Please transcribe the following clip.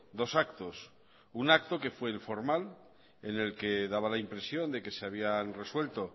dos actos un acto que fue el formal en el que daba la impresión de que se habían resuelto